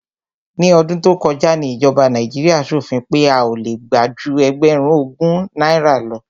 Ní ọdún tó kọjá ni ìjọba Nàíjíríà ṣòfin pé a ò le gbà ju ẹgbẹ̀rún ogún náírà lọ.